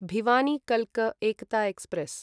भिवानी कल्क एकता एक्स्प्रेस्